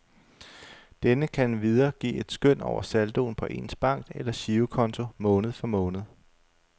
Denne kan endvidere give et skøn over saldoen på ens bank eller girokonto måned for måned.